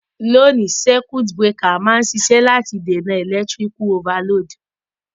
Loni, circuit breaker ma n sisẹ́ láti dènàn electrical overload